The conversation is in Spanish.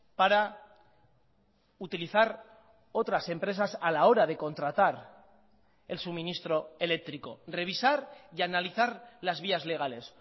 para utilizar otras empresas a la hora de contratar el suministro eléctrico revisar y analizar las vías legales